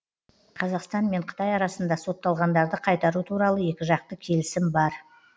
қазақстан мен қытай арасында сотталғандарды қайтару туралы екіжақты келісім бар